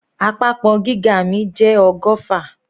Àpapọ̀ gíga mi jẹ́ ọgọ́fà.